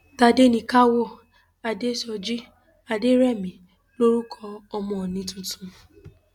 tádéníkáwọ adésọjí adẹrẹmí lorúkọ ọmọ òónì tuntun